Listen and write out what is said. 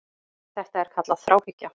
Þetta er kallað þráhyggja.